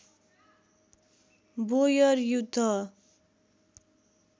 बोयर युद्ध